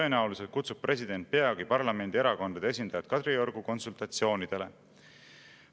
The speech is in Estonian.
Tõenäoliselt kutsub president peagi parlamendierakondade esindajad Kadriorgu konsultatsioonidele.